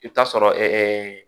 I bɛ taa sɔrɔ